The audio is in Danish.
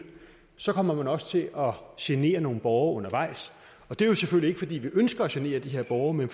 så kommer man også til at genere nogle borgere undervejs det er jo selvfølgelig ikke fordi vi ønsker at genere de her borgere men